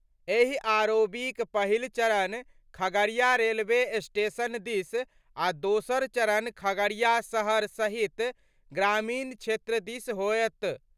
एहि आरओबीक पहिल चरण खगड़िया रेलवे स्टेशन दिस आ दोसर चरण खगड़िया शहर सहित ग्रामीण क्षेत्र दिस होयत।